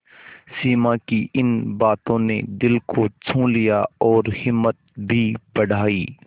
सिमा की इन बातों ने दिल को छू लिया और हिम्मत भी बढ़ाई